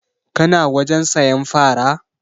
Ka na wajen sayan fara?